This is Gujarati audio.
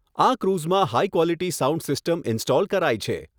આ ક્રુઝમાં હાઇક્વોલીટી સાઉન્ડ સીસ્ટમ ઇન્સ્ટોલ કરાઈ છે.